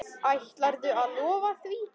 Ætlarðu að lofa því?